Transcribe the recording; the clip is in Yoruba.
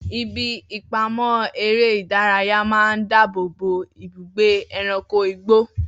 Ibi ìpamọ́ eré ìdárayá máa ń dáàbò bo ibùgbé ẹranko igbó.